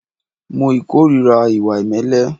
Mo ìkórìíra ìwà ìmẹ́lẹ́.